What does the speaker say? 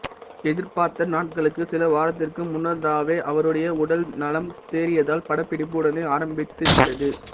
எதிர்பார்த்த நாட்களுக்கு சில வாரத்திற்கு முன்னதாவே அவருடைய உடல் நலம் தேறியதால் படப்பிடிப்பு உடனே ஆரம்பித்துவிட்டது